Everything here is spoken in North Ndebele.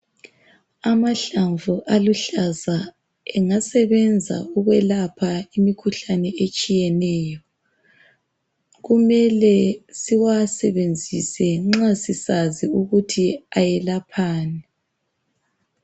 Amahlamvu aluhlaza angasebenza ukulapha imikhuhlane etshiyeneyo. Kumele siwasebenzise nxa sisazi ukuthi ayelaphani.